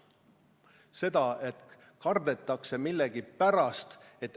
Seda, et kardetakse millegipärast.